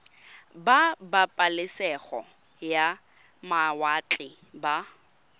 ba pabalesego ya mawatle ba